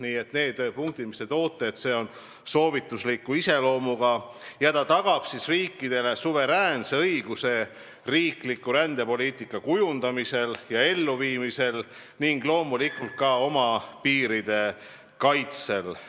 Teie nimetatud punktid on soovitusliku iseloomuga ja see tagab riikidele suveräänse õiguse oma rändepoliitika kujundamiseks ja elluviimiseks ning loomulikult ka oma piiride kaitseks.